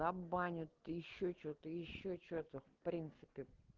забанят ещё что-то ещё что-то в принципе